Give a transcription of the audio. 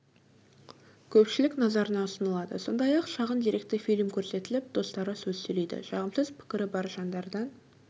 көпшілік назарына ұсынылады сондай-ақ шағын деректі фильм көрсетіліп достары сөз сөйлейді жағымсыз пікірі бар жандардан